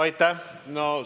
Aitäh!